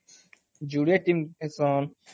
ଯୁଡେ tea Hesson